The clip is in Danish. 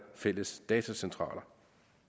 fælles datacentraler